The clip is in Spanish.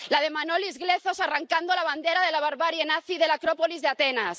la de Manolis Glezos arrancando la bandera de la barbarie nazi de la Acrópolis de Atenas